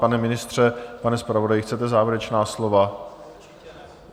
Pane ministře, pane zpravodaji, chcete závěrečná slova?